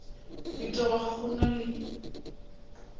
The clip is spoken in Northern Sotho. ditaba ga go na le